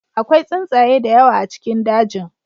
Akwai tsuntsaye da yawa a cikin dajin.